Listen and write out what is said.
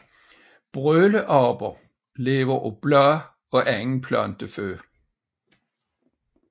Brøleaber lever af blade og anden planteføde